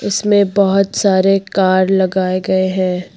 इसमें बहुत सारे कार लगाए गए हैं।